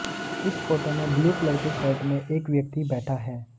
इस फोटो में blue colour के शर्ट में एक व्यक्ति बैठा है